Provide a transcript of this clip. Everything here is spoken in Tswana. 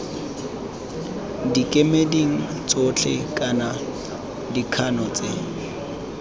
dikemeding tsotlhe kana dikgano tse